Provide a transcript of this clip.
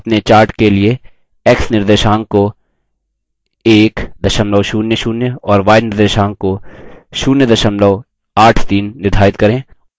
अपने chart के लिए x निर्देशांक को 100 और y निर्देशांक को 083 निर्धारित करें